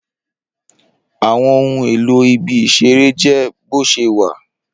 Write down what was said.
Awọn ohun elo ibi isere jẹ boṣewa